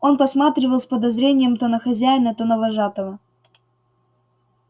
он посматривал с подозрением то на хозяина то на вожатого